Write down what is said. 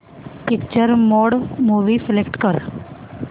picture mode movie select कर